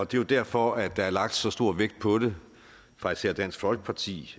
det er derfor der er lagt så stor vægt på det fra især dansk folkeparti